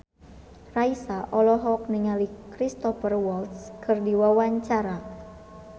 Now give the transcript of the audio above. Raisa olohok ningali Cristhoper Waltz keur diwawancara